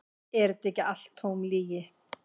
Er þetta ekki allt tóm lygi?